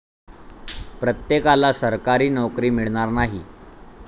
प्रत्येकाला सरकारी नोकरी मिळणार नाही.